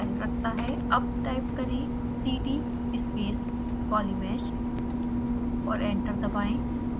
अब टाइप करें cd space polymesh और एंटर दबाएं